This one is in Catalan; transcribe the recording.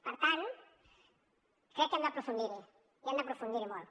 per tant crec que hem d’aprofundir hi i hem d’aprofundir hi molt